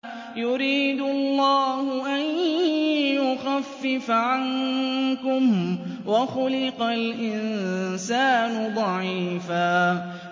يُرِيدُ اللَّهُ أَن يُخَفِّفَ عَنكُمْ ۚ وَخُلِقَ الْإِنسَانُ ضَعِيفًا